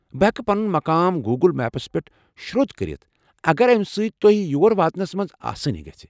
بہٕ ہٮ۪کہٕ پنُن مقام گوگل میپس پٮ۪ٹھ شرودھ کٔرِتھ اگر امہ سۭتۍ تۄہہِ یور واتنس منٛز آسٲنی گژھہِ ۔